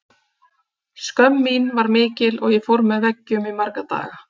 Skömm mín var mikil og ég fór með veggjum í marga daga.